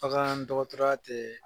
Bakan dɔgɔtɔrɔ ya tɛ